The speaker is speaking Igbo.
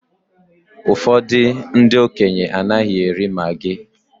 Ụfọdụ ndị okenye anaghị eri maggi